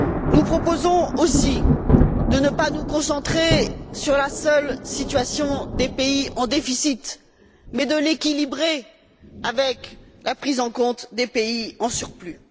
Nous proposons aussi de ne pas nous concentrer sur la seule situation des pays en déficit mais de l'équilibrer avec la prise en compte des pays en surplus.